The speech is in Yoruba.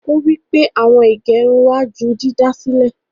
Ọ̀ wí pé awọn ìgẹ̀rùn wà jù dídásílẹ̀.